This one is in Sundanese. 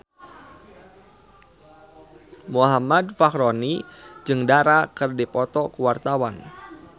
Muhammad Fachroni jeung Dara keur dipoto ku wartawan